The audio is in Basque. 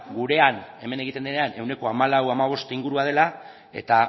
gurean hemen egiten denean ehuneko hamalauhamabost ingurua dela eta